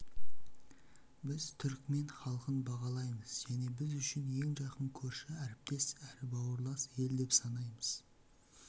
біз түрікмен халқын бағалаймыз және біз үшін ең жақын көрші әріптес әрі бауырлас ел деп санаймыз